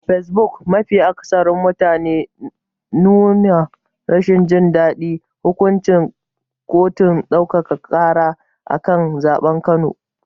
A fesbuk, mafi akatharin mutane sun nuna rashin jin daɗin hukuncin kotun ɗaukaka ƙara a kan zaɓen Kano.